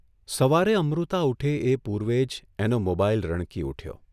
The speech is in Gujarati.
સવારે અમૃતા ઊઠે એ પૂર્વે જ એનો મોબાઇલ રણકી ઊઠ્યો.